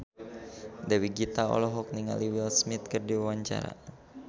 Dewi Gita olohok ningali Will Smith keur diwawancara